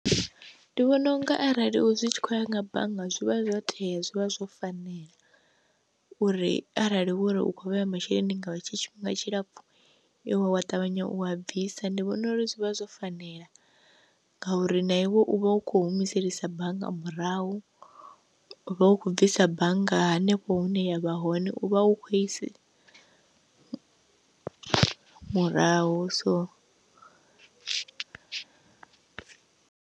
Ndi vhona unga arali zwi tshi khou ya nga bannga zwi vha zwo tea zwi vha zwo fanela, uri arali wari u kho vheya masheleni nga hetsho tshifhinga tshilapfu wa ṱavhanya u a bvisa, ndi vhona uri zwi vha zwo fanela ngauri na iwe u vha u kho humiselisa bannga murahu, u vha u khou bvisa bannga hanefho hune ya vha hone u vha u khou isi murahu so.